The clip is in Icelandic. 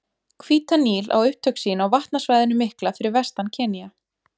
Hvíta Níl á upptök sín á vatnasvæðinu mikla fyrir vestan Kenía.